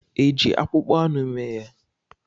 Eji akpụkpọ anụ mee ya?